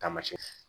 Taamasiyɛn